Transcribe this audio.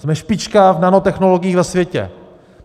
Jsme špička v nanotechnologiích ve světě.